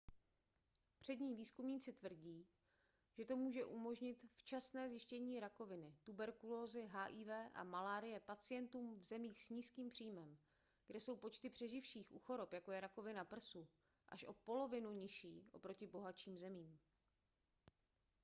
přední výzkumníci tvrdí že to může umožnit včasné zjištění rakoviny tuberkulózy hiv a malárie pacientům v zemích s nízkým příjmem kde jsou počty přeživších u chorob jako je rakovina prsu až o polovinu nižší oproti bohatším zemím